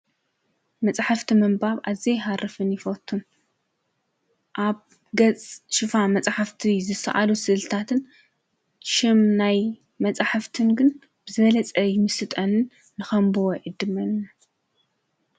መፃሕፍቲ ምንባብ ኣዝየ ይሃርፍን ይፈትዉን። ኣብ ገፅ ሽፋን መፃሕፍቲ ዝሰኣሉ ስእሊታትን ሽም ናይ መፃሕፍትን ግን ብዝበለፀ ይምስጠንን ንኸምብቦ ይዕድመንን፡፡